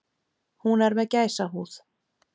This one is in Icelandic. Hún er með gæsahúð.